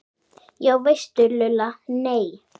Já veistu Lulla, nei